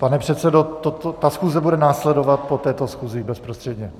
Pane předsedo, ta schůze bude následovat po této schůzi bezprostředně.